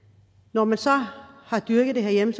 når man så har dyrket det herhjemme